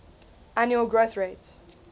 annual growth rate